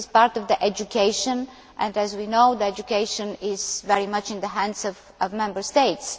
This is part of education, and as we know, education is very much in the hands of Member States.